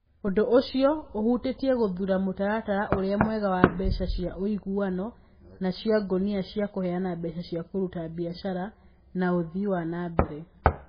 Ũndũ ũcio ũhutĩtie gũthuura mũtaratara ũrĩa mwega wa mbeca cia ũiguano na cia ngunia cia kũheana mbeca cia kũruta biacara na ũthii wa na mbere.